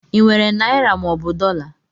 I nwere naịra mọobụ dọla?